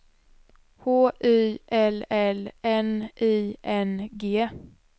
H Y L L N I N G